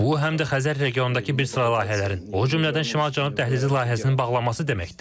Bu həm də Xəzər regionundakı bir sıra layihələrin, o cümlədən Şimal-Cənub dəhlizi layihəsinin bağlanması deməkdir.